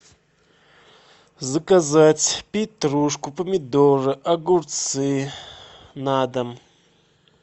заказать петрушку помидоры огурцы на дом